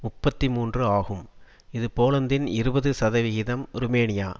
முப்பத்தி மூன்று ஆகும் இது போலந்தின் இருபது சதவிகிதம் ருமேனியா